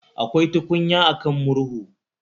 Akwai tukunya a kan murhu